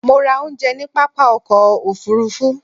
Mo ra oúnjẹ ní pápá ọkọ̀ òfurufú